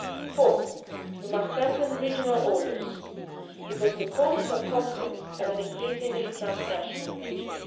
Fourth, we must strengthen regional orders, because the causes of conflicts have an increasingly transnational